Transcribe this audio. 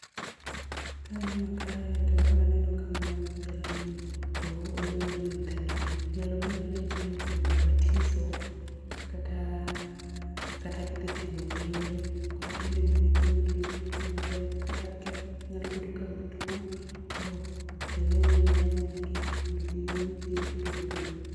Kaneno kae to aneno ka mano jalemo to olemo ne nyithindo go nyalo bedo ni nyithindo go oyudo batizo kata ,kata gidhi timo penj, koro ilemo negi mondo gidhi gitim maber, kata ka nyalo bedo ka gituo koro jalemono lemonegi mondo giyud thieth piyo piyo